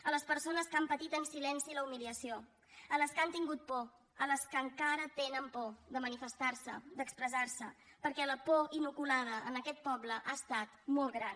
a les persones que han patit en silenci la humiliació a les que han tingut por a les que encara tenen por de manifestar se d’expressar se perquè la por inoculada a aquest poble ha estat molt gran